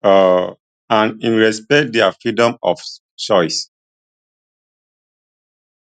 um and im respect dia freedom of choice